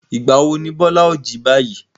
Ìgbà wo ni Bọ́lá ó jí báyìí?